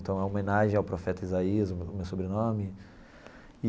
Então, é uma homenagem ao profeta Isaías, o meu sobrenome.